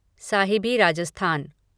Sahibi Rajasthan